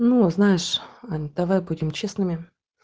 ну знаешь ань давай будем честными